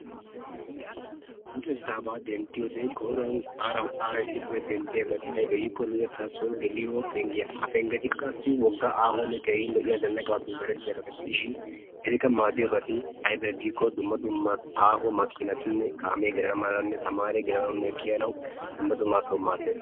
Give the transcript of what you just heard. Luxettaba denttiyoode koyruwaan aara issippe denddiyaabati aybbe giiko luxetta soo geliyo penggiyaa. Ha penggeti wogga aahonne keehi lo''iyaa zanaqqappe meretiyaa soho gidishin etikka maaddiyoobati aybbe giiko dumma dumma aaho makinatinne kaame gelana malanne kiyyanaw, tamare gelanawunne kiyyanaw dumma dumma asaw maaddees.